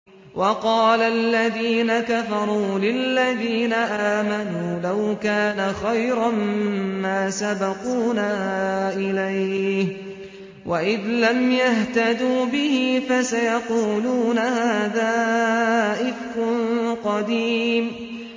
وَقَالَ الَّذِينَ كَفَرُوا لِلَّذِينَ آمَنُوا لَوْ كَانَ خَيْرًا مَّا سَبَقُونَا إِلَيْهِ ۚ وَإِذْ لَمْ يَهْتَدُوا بِهِ فَسَيَقُولُونَ هَٰذَا إِفْكٌ قَدِيمٌ